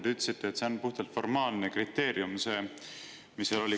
Te ütlesite, et see on puhtalt formaalne kriteerium.